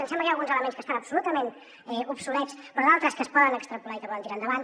ens sembla que hi ha alguns elements que estan absolutament obsolets però d’altres que es poden extrapolar i que poden tirar endavant